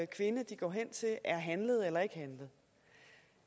kvinde de går hen til er handlet eller ikke handlet